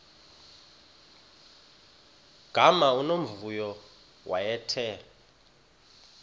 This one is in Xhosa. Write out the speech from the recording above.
gama unomvuyo wayethe